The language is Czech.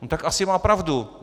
No tak asi má pravdu.